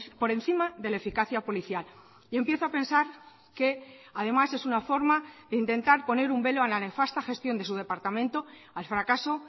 por encima de la eficacia policial y empiezo a pensar que además es una forma de intentar poner un velo a la nefasta gestión de su departamento al fracaso